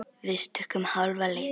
Við stukkum hálfa leið.